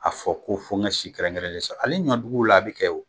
A fɔ ko fo n ka si kɛrɛnkɛrɛnnen sɔrɔ ali ɲɔduguw la a bɛ kɛ wo.